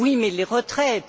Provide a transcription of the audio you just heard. oui, mais les retraites